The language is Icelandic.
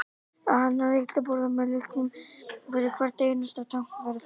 að hanna lyklaborð með lyklum fyrir hvert einasta tákn væri fásinna